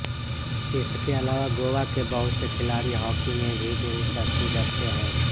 इसके अलावा गोवा के बहुत से खिलाड़ी हाकी में भी दिलचस्पी रखते हैं